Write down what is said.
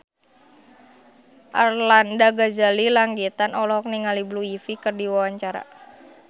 Arlanda Ghazali Langitan olohok ningali Blue Ivy keur diwawancara